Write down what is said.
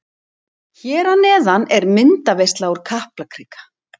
Hér að neðan er myndaveisla úr Kaplakrika.